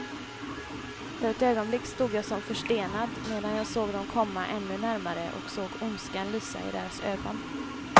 För ett ögonblick stod jag som förstenad, medan jag såg dem komma ännu närmare och såg ondskan lysa i deras ögon.